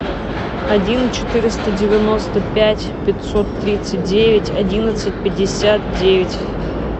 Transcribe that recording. один четыреста девяносто пять пятьсот тридцать девять одиннадцать пятьдесят девять